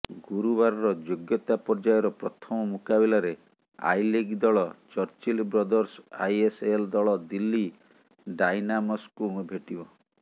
ଗୁରୁବାରର ଯୋଗ୍ୟତା ପର୍ଯ୍ୟାୟର ପ୍ରଥମ ମୁକାବିଲାରେ ଆଇଲିଗ୍ ଦଳ ଚର୍ଚିଲ ବ୍ରଦର୍ସ ଆଇଏସ୍ଏଲ୍ ଦଳ ଦିଲ୍ଲୀ ଡାଇନାମସ୍କୁ ଭେଟିବ